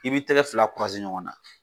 I b'i tɛgɛ fila ɲɔgɔn na.